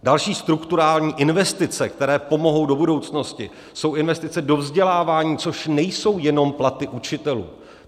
Další strukturální investice, které pomohou do budoucnosti, jsou investice do vzdělávání, což nejsou jenom platy učitelů.